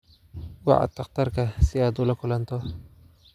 Wac dhakhtarka si aad ula kulanto